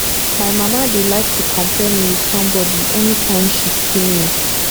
my mama dey like to compare me with somebody anytime she see me